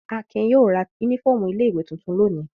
Akin yóò ra únífọ́ọ́mù ilé-ìwé tuntun lónìí.